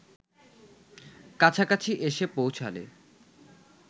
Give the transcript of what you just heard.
কাছাকাছি এসে পৌঁছালে